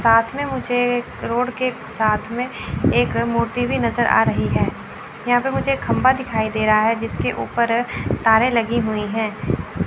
साथ में मुझे एक रोड के साथ में एक मूर्ति भी नजर आ रही है यहां पे मुझे खंभा दिखाई दे रा है जिसके ऊपर तारे लगी हुई हैं।